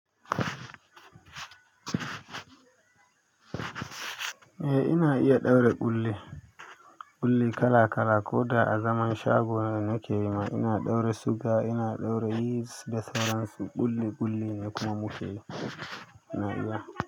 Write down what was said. Eh ina iya ɗaura ƙulli, ƙullin kala kala ko da a zaman shagona da nake yi ma ina ɗaura suga ina ɗaura yeast da sauran su ƙulli ƙulli ne kuma mukeyi.